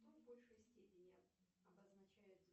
что в большей степени обозначает